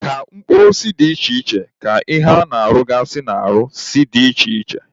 Ka mkpụrụ osisi si dị iche iche ka ihe ha na-arụgasị n'ahụ si dị iche iche.